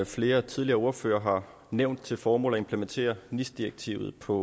flere tidligere ordførere har nævnt til formål at implementere nis direktivet på